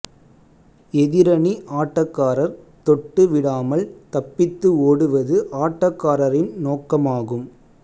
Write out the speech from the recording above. எதிரணி ஆட்டக்காரர் தொட்டு விடாமல் தப்பித்து ஓடுவது ஆட்டக்காரரின் நோக்கமாகும்